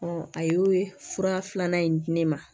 a y'o fura filanan in di ne ma